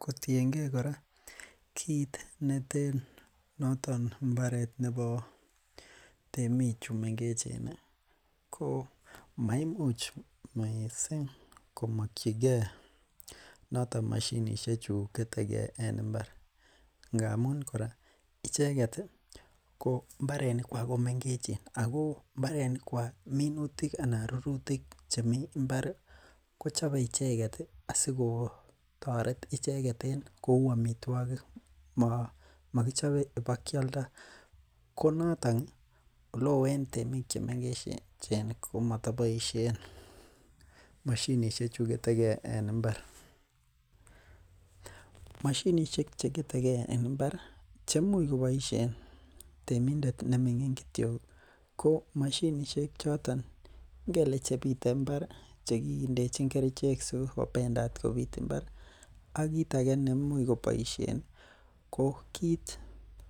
Kotienge kore mbaret komaimuch missing komakyinge mashinisiek choto chuketege en imbar ngamun koroita mbarenik chuton komengechen ago mbarenik kuag anan minutik chemi mbar kochabe icheket asikotoret kouu amituakik makichobe ibakialdo, komaton en temik chechang en temik cheechen komatabaishen mashinisiek en imbar mashinisiek chegetege en imbar temindet kityo ko mashinisiek choto chebite imbar , chekindechin kerichek chebendete kobit imbar en yeimuch kobaisien ko kit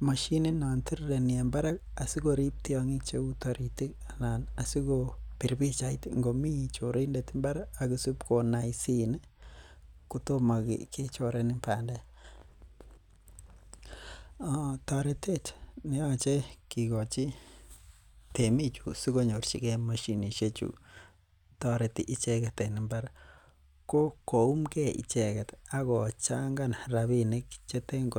netirireni en imbar ih asikorib tiang'ik cheuu taritik ih asikobir bichait ingo mi chorindet mbar ih , akisubkonaisin ih kotomo kechoren bandek toretet myeache kikochi bichon yemi chu sikonyorchike mashinisiek chu tareti icheket en imbar ko koum he icheket Ako Changan rabinik cheten